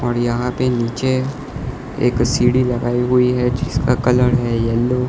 और यहां पे नीचे एक सीढ़ी लगाई हुई है जिसका कलर है येलो --